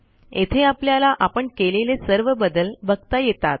येथे आपल्याला आपण केलेले सर्व बदल बघता येतात